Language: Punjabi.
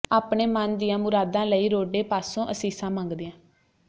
ਆਪਣੇ ਮਨ ਦੀਆਂ ਮੁਰਾਦਾਂ ਲਈ ਰੋਡੇ ਪਾਸੋਂ ਅਸੀਸਾਂ ਮੰਗਦੀਆਂ